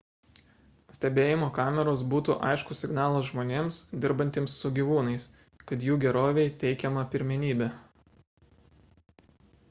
stebėjimo kameros būtų aiškus signalas žmonėms dirbantiems su gyvūnais kad jų gerovei teikiama pirmenybė